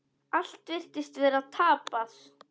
Allt virtist vera tapað.